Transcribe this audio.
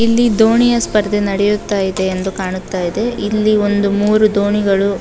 ಇಲ್ಲಿ ದೋಣಿಯ ಸ್ಪರ್ಧೆ ನಡೆಯುತ್ತಾ ಇದೆ ಎಂದು ಕಾಣುತ್ತ ಇದೆ ಇಲ್ಲಿ ಒಂದು ಮೂರು ದೋಣಿಗಳು --